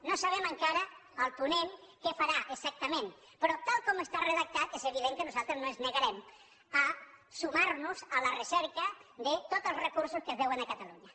no sabem encara el ponent què farà exacta·ment però tal com està redactat és evident que nos·altres no ens negarem a sumar·nos a la recerca de tots els recursos que es deuen a catalunya